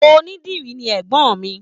Onídìrí ni ẹ̀gbọ́n mi.